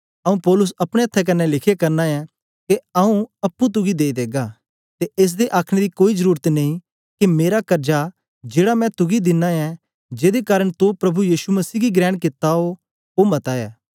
आऊँ पौलुस अपने अथ्थें कन्ने लिखे करना ऐं के आऊँ अप्पुं तुगी देई देगा ते एस दे आखने दी कोई जरुरत नेई के मेरा कर्जा जेड़ा मैं तुगी देनां ऐ जेदे कारन तो प्रभु यीशु मसीह गी ग्रेण कित्ता ओ मता ऐ